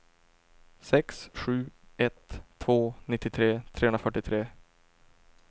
sex sju ett två nittiotre trehundrafyrtiotre